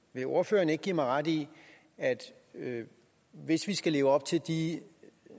vil ordføreren ikke give mig ret i at hvis vi skal leve op til de